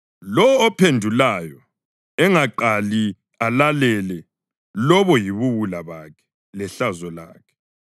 Lowo ophendulayo engaqali alalele lobo yibuwula bakhe lehlazo lakhe.